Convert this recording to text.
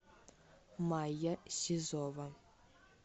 майя сизова